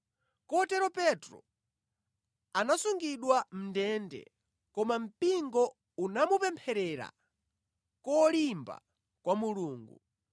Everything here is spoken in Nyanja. Kotero Petro anasungidwa mʼndende, koma mpingo unamupempherera kolimba kwa Mulungu.